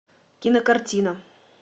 кинокартина